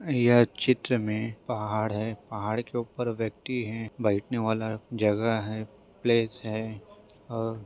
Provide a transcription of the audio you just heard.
यह चित्र में पहाड़ हैं पहाड़ के ऊपर व्यक्ति हैं बैठने वाला जगह हैं प्लेस है और--